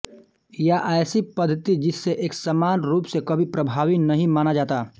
या ऐसी पद्धति जिसे एक समान रूप से कभी प्रभावी नहीं माना जाता